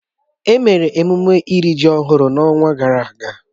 Emere emume iri ji ọhụrụ n'ọnwa gara aga